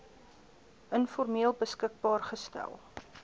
informeel beskikbaar gestel